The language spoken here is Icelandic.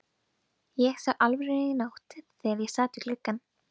Ég sá Álfrúnu í nótt þegar ég sat við gluggann.